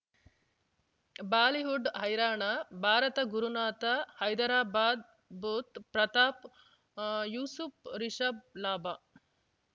Bollywood ಹೈರಾಣ ಭಾರತ ಗುರುನಾಥ ಹೈದರಾಬಾದ್ ಬುಧ್ ಪ್ರತಾಪ್ ಯೂಸುಫ್ ರಿಷಬ್ ಲಾಭ